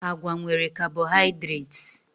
Agwa nwere carbohydrates